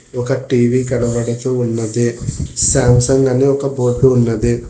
ఒక టీవీ కనబడుతూ ఉన్నది సాంసంగ్ అన్ని ఒక బోర్డు ఉన్నది.